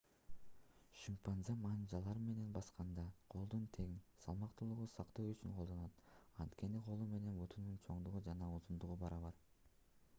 шимпанзе манжалар менен басканда колду тең салмактуулукту сактоо үчүн колдонот анткени колу менен бутунун чоңдугу жана узундугу барабар